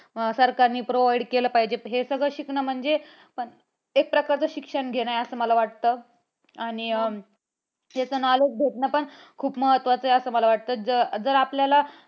सरकारने provide केलं पाहिजे. हे सगळं शिकणे म्हणजे एक प्रकारचं शिक्षण घेणं आहे असं मला वाटतं. आणि त्याचं knowledge भेटणं पण खूप महत्वाचं आहे. असं मला वाटतं जर जर आपल्याला